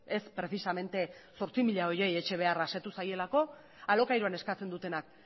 ez prezisamente zortzi mila horiei etxe beharra asetu zaielako alokairuan eskatzen dutenak